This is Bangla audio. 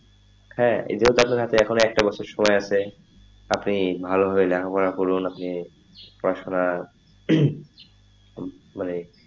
হ্যাঁ এতেও থাকতে থাকতে একটা বছর সময় আছে আপনি ভালো ভাবে লেখাপড়া করুন আপনি পড়াশোনা হম মানে,